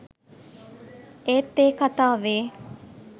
ඒත් ඒ කතාවේ